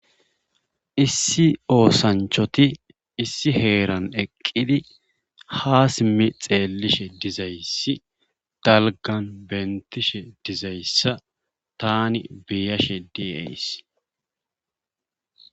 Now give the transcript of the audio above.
Issi osanchoti issi heeran eqidi ha simmi xeelishe dizaysi dalggan beetishe dizayssa taani be'ashe deyays.